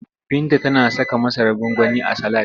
Binta tana saka masarar gwangwani a salad.